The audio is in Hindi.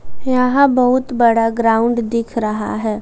यहा बहुत बड़ा ग्राउंड दिख रहा है।